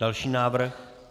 Další návrh.